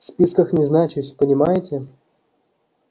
в списках не значусь понимаете